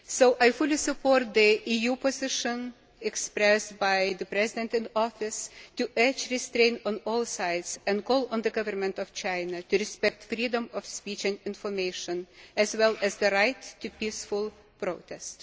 I fully support the EU position expressed by the President in Office to urge restraint on all sides and call on the Government of China to respect freedom of speech and information, as well as the right to peaceful protest.